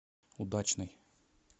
удачный